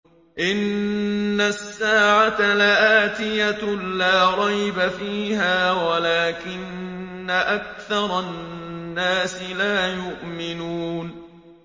إِنَّ السَّاعَةَ لَآتِيَةٌ لَّا رَيْبَ فِيهَا وَلَٰكِنَّ أَكْثَرَ النَّاسِ لَا يُؤْمِنُونَ